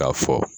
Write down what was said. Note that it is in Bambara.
K'a fɔ